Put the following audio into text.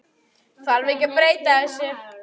Þarf ekki að breyta þessu?